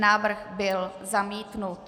Návrh byl zamítnut.